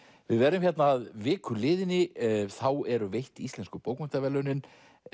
við verðum hérna að viku liðinni þá eru veitt Íslensku bókmenntaverðlaunin